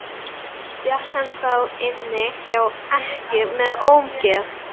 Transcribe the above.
Fékk hann þá inni hjá ekkju með ómegð.